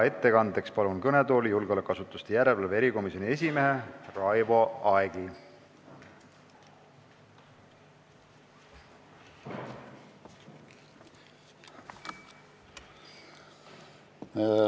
Ettekandeks palun kõnetooli julgeolekuasutuste järelevalve erikomisjoni esimehe Raivo Aegi!